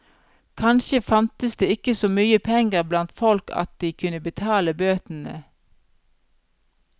Kanskje fantes det ikke så mye penger blant folk at de kunne betale bøtene.